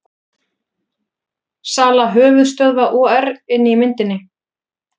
Sala höfuðstöðva OR inni í myndinni